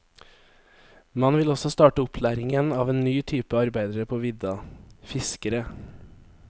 Man vil også starte opplæringen av en ny type arbeidere på vidda, fiskere.